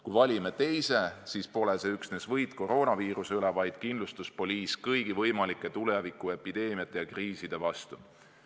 Kui valime teise, siis pole see üksnes võit koroonaviiruse üle, vaid kindlustuspoliis kõigi võimalike tulevikuepideemiate ja kriiside vastu.